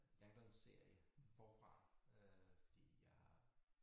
Langdon forfra øh fordi jeg